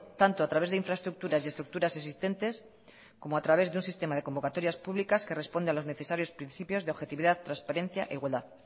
tanto a través de infraestructuras y estructuras existentes como a través de un sistema de convocatorias públicas que responde a los necesarios principios de objetividad transparencia e igualdad